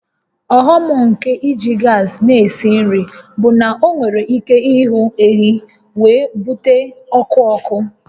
Ọghọm nke iji gas na-esi nri bụ na ọ nwere ike ịhụ ehi wee bute ọkụ ọkụ